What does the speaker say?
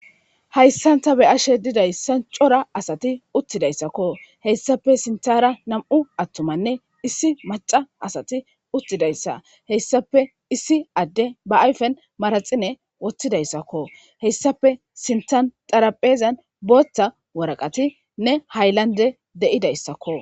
Haysan ta be'ashe dizaysan cora sati uttidaysako ,heysappe sinthara nam'u atumanne issi maca asati uttidaysa , heysappe issi Adey ba ayfen manaxire wothidaysako, heysappe sinthan xaraphezan bootha waraqatinne haylandey de'idaysako.